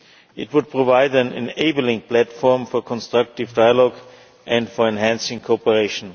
It would provide an enabling platform for constructive dialogue and for enhancing cooperation.